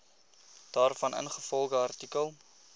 daarvan ingevolge artikel